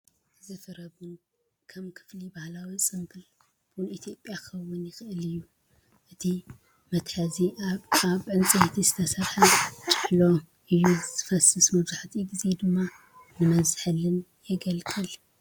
እዚ ፍረ ቡን ከም ክፍሊ ባህላዊ ፅምብል ቡን ኢትዮጵያ ኪኸውን ይኽእል እዩ ።እቲ እተጠብሰ ኣብ ዕንጨይቲ ኣብ ዝተሰርሐ ጭሔሎ እዩ ዝፈስስ መብዛሕትኡ ግዜ ድማ ንመዝሓሊን የገልግል።